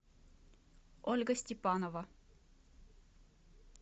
ольга степанова